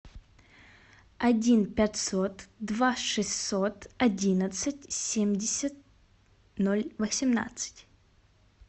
один пятьсот два шестьсот одиннадцать семьдесят ноль восемнадцать